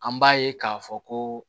An b'a ye k'a fɔ ko